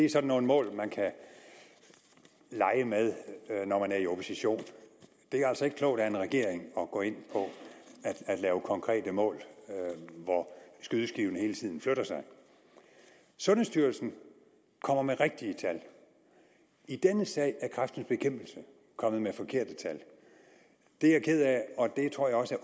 er sådan nogle mål man kan lege med når man er i opposition det er altså ikke klogt af en regering at gå ind på at lave konkrete mål hvor skydeskiven hele tiden flytter sig sundhedsstyrelsen kommer med rigtige tal i denne sag er kræftens bekæmpelse kommet med forkerte tal det er jeg ked af og det tror jeg også